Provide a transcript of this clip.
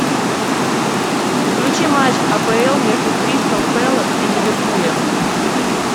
включи матч апл между кристал пэлас и ливерпулем